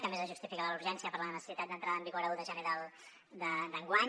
que a més és justificada la urgència per la necessitat d’entrada en vigor l’un de gener d’enguany